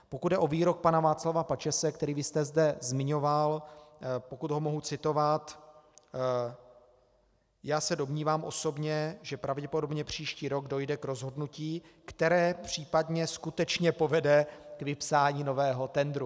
Pokud jde o výrok pana Václava Pačese, který vy jste zde zmiňoval, pokud ho mohu citovat: "Já se domnívám osobně, že pravděpodobně příští rok dojde k rozhodnutí, které případně skutečně povede k vypsání nového tendru."